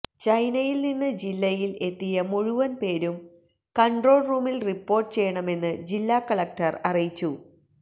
ചൈനയില് നിന്ന് ജില്ലയില് എത്തിയ മുഴുവന് പേരും കണ്ട്രോള് റൂമില് റിപ്പോര്ട്ട് ചെയ്യണമെന്ന് ജില്ലാ കളക്ടർ അറിയിച്ചു